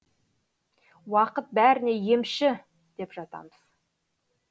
уақыт бәріне емші деп жатамыз